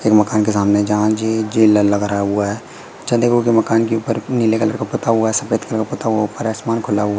एक मकान के सामने जहां जी जिला लग रहा हुआ है चंद्रपुर के मकान के ऊपर नीले कलर का पुता हुआ सफेद कलर का पुता हुआ ऊपर आसमान खुला हुआ है।